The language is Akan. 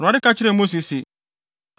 Awurade ka kyerɛɛ Mose se,